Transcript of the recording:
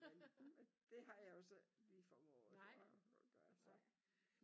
Men men det har jeg jo så ikke formået at gøre så